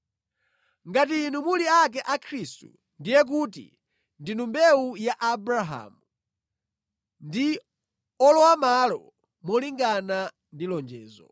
Ngati inu muli ake a Khristu, ndiye kuti ndinu mbewu ya Abrahamu, ndi olowamʼmalo molingana ndi lonjezo.